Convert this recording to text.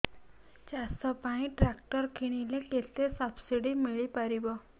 ଚାଷ ପାଇଁ ଟ୍ରାକ୍ଟର କିଣିଲେ କେତେ ସବ୍ସିଡି ମିଳିପାରିବ